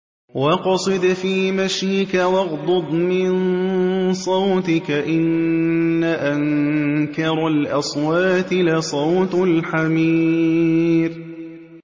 وَاقْصِدْ فِي مَشْيِكَ وَاغْضُضْ مِن صَوْتِكَ ۚ إِنَّ أَنكَرَ الْأَصْوَاتِ لَصَوْتُ الْحَمِيرِ